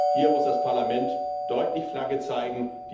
Hier muss das Parlament deutlich Flagge zeigen.